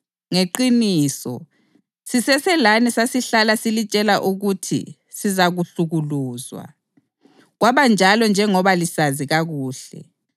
Ngeqiniso, siseselani sasihlala silitshela ukuthi sizahlukuluzwa. Kwabanjalo njengoba lisazi kakuhle.